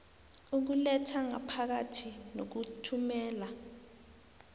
ukuletha ngaphakathi nokuthumela